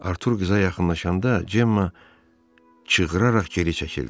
Artur qıza yaxınlaşanda Cemma çığıraraq geri çəkildi.